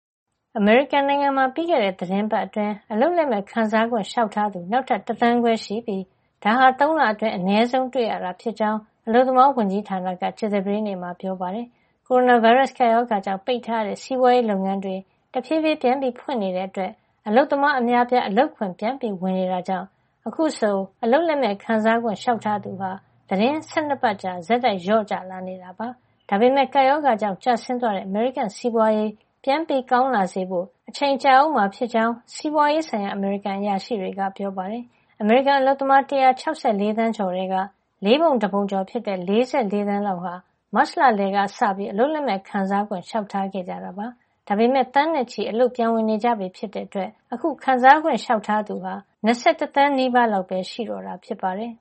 အမေရိကန်နိုင်ငံမှာ ပြီးခဲ့တဲ့ သီတင်းပတ်အတွင်း အလုပ်လက်မဲ့ ခံစားခွင့် လျှောက်ထားသူ နောက်ထပ် ၁ သန်းခွဲရှိပြီး ဒါဟာ ၃ လအတွင်း အနည်းဆုံး တွေ့ရတာ ဖြစ်ကြောင်း အလုပ်သမားဝန်ကြီးဌာနက ကြာသပတေးနေ့မှာ ပြောပါတယ်။ ကိုရိုနာဗိုင်းရပ်စ် ကပ်ရောဂါကြောင့် ပိတ်ထားရတဲ့ စီးပွါးရေး လုပ်ငန်းတွေ တဖြေးဖြေး ပြန်ဖွင့်နေတဲ့ အတွက် အလုပ်သမားအများအပြား အလုပ်ခွင် ပြန်ဝင် နေကြတာကြောင့် အခုဆို အလုပ်လက်မဲ့ ခံစားခွင့် လေ ျှာက်ထားသူဟာ သီတင်းပတ် ၁၂ ပတ်ကြာ ဆက်တိုက် လျော့ကျလာတာ ဖြစ်ပါတယ်။ ဒါမပမယ့် ကပ်ရောဂါကြောင့် ကျဆင်းသွားတဲ့ အမေရိကန် စီးပွါးရေး ပြန်ကောင်းလာစေဖို့ အချိန်ကြာအုံးမှာ ဖြစ်ကြောင်း စီးပွါးရေးဆိုင်ရာ အမေရိကန်အရာရှိတွေက ပြောပါတယ်။ အမေရိကန်အလုပ်သမား ၁၆၄ သန်းကျော် ထဲက လေးပုံတပုံကျော် ဖြစ်တဲ့ ၄၄ သန်းလောက် ဟာ မတ်လ လယ်ကစပြီး အလုပ်လက်မဲ့ ခံစားခွင့် လေ ျှာက်ထားခဲ့တကြတာ ဖြစ်ပါတယ်။ ဒါပေမယ့် သန်းနဲ့ချီပြီး အလုပ်ပြန်ဝင် နေကြပြီ ဖြစ်တဲ့ အတွက် ခံစားခွင့် လျှောက်ထားသူဟာ ၂၁ သန်းနီးပါးလောက်ပဲ ရှိတော့တာ ဖြစ်ပါတယ်